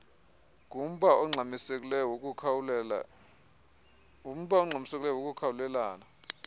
ngumba ongxamisekileyo wokukhawulelana